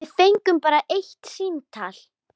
Við fengum bara eitt símtal.